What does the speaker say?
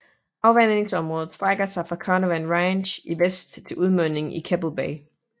Afvandingsområdet strække sig fra Carnarvon Range i vest til udmundingen i Keppel Bay